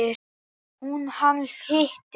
Hún: Hann hitti.